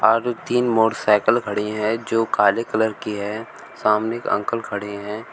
और तीन मोटरसाइकल खड़ी है जो काले कलर की है सामने एक अंकल खड़े हैं।